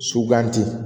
Sugandi